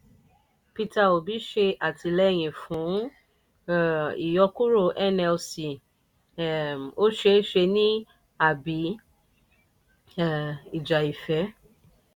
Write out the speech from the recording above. peter obi ṣe àtìlẹ́yìn fún um ìyọkuro nlc um ó ṣe é ní àbí um ìjà ìfẹ́?